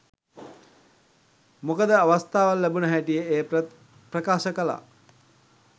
මොකද අවස්ථාවක් ලැබුණ හැටියෙ එය ප්‍රකාශ කළා.